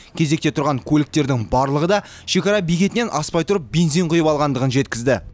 кезекте тұрған көліктердің барлығы да шекара бекетінен аспай тұрып бензин құйып алғандығын жеткізді